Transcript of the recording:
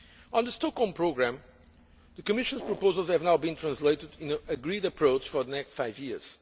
On the Stockholm Programme, the Commission's proposals have now been translated into an agreed approach for the next five years.